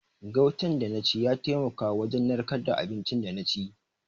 Gautan da na ci ya taimaka wajen narkar da abinci da na ci.